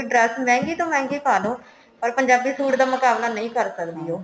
dress ਮਹਿੰਗੀ ਤੋਂ ਮਹਿੰਗੀ ਪਾਲੋ ਪਰ ਪੰਜਾਬੀ suit ਦਾ ਮੁਕਾਬਲਾ ਨਹੀਂ ਕਰ ਸਕਦੀ ਉਹ